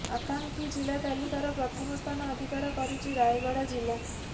ଆକାଂକ୍ଷୀ ଜିଲ୍ଲା ତାଲିକାର ପ୍ରଥମ ସ୍ଥାନ ଅଧିକାର କରିଛି ରାୟଗଡ଼ା ଜିଲ୍ଲା